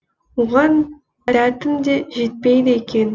оған дәтім де жетпейді екен